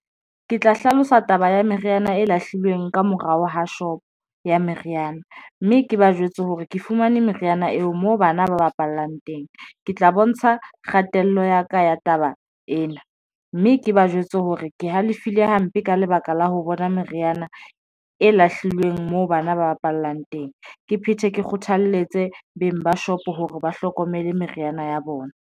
Ke tla hlalosa taba ya meriana e lahlilweng ka morao ho shop ya meriana, mme ke ba jwetse hore ke fumane meriana eo moo bana ba bapallang teng. Ke tla bontsha kgatello ya ka ya taba ena mme ke ba jwetse hore ke halefile hampe ka lebaka la ho bona meriana e lahlilweng moo bana ba bapallang teng, ke phethe ke kgothaletse beng ba shop hore ba hlokomele meriana ya bona.